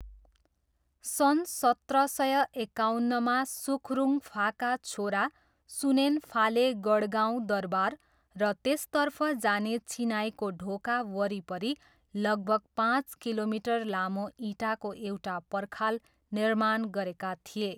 सन् सत्र सय एकाउन्नमा सुखरुङफाका छोरा सुनेनफाले गढगाउँ दरबार र त्यसतर्फ जाने चिनाईको ढोका वरिपरि लगभग पाँच किलोमिटर लामो इँटाको एउटा पर्खाल निर्माण गरेका थिए।